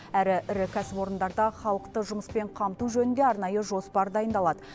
әрі ірі кәсіпорындарда халықты жұмыспен қамту жөнінде арнайы жоспар дайындалады